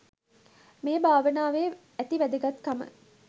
මේ භාවනාවේ ඇති වැදගත්කම